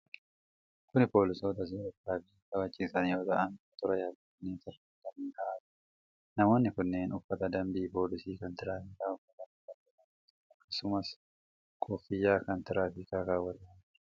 Kun poolisoota seera tiraafikaa kabachiisan yoo ta'an, motora yaabbatanii tarree galanii yaa'aa jiru. Namoonni kunneen uffata dambii poolisii kan tiraafikaa uffatanii kan jiran yoo ta'u, akkasumas kooffiyaa kan tiraafikaa kaawwatanii jiru.